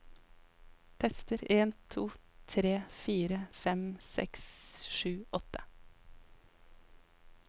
Tester en to tre fire fem seks sju åtte